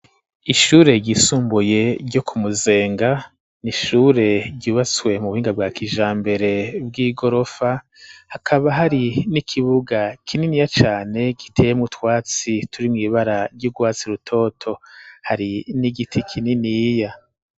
Ishure ryisumbuye, ryo ku Muzenga, ni ishure ryubatswe, mu buhinga bwa kijambere, bw'igorofa; hakaba hari n'ikibuga, kininiya cane, giteyemwo utwatsi, turi mw'ibara, ry'urwatsi rutoto; hari n'igiti kininiya.